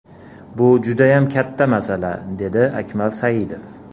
Bu judayam katta masala”, dedi Akmal Saidov.